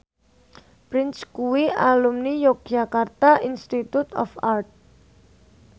Prince kuwi alumni Yogyakarta Institute of Art